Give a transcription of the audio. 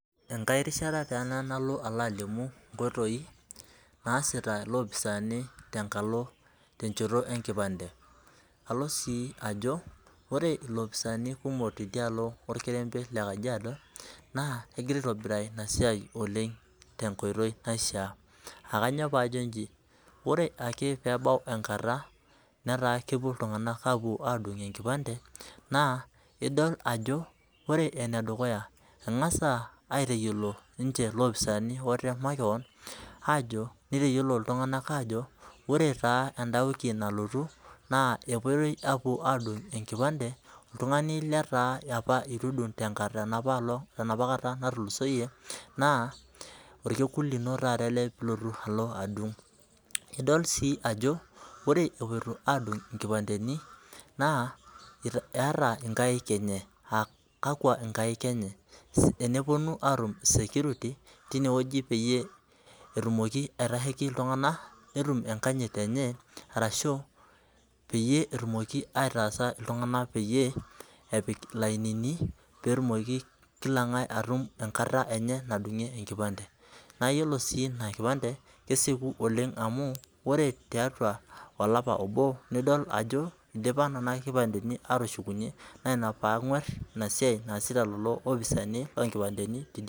Enkai rishata taa ena nalo alimu nkoitoi naasipa ilopisaani tenchoto enkipante ,alo sii ajo ore ilopisaani kumok tidialo orkerembe lekajiado naa kegirae aitobiraa ina siai oleng tenkoitoi naishaa ,aa kainyoo pee ajo inji ,ore ake pee ebau enkata netaa kepuo iltunganak apuo adung enkipante, naa idol ajo ore ene dukuya engas aitayiolo ilopisaani ninche makeon ,nitayiolo iltunganak ajo ore taa enda wiki nalotu naa epoitoi apuo adung enkipante oltungani leitu edung tenapakata natulusoyie naa orkekun lino ele pee ilotu adung ,idol sii ajo ore epoito adung inkipanteni naa eta inkaek enye ,aa kakwa inkaek enye ,teneponu atua security tineweji peyie etumoki aitasheki iltunganak netum enkanyit enye orashu peyie etumoki aitaasa iltunganak peyie epik ilainini peyie etumuko Kila ngae enkata enye nadungie enkipante ,naa yiolo sii ina kipante kesieku oleng amu ore tiatua olapa obo nidol ajo idipa nena kipanteni atushunyenaa ina pee angwar ina siai naasipa lelo opisaani loonkipanteni.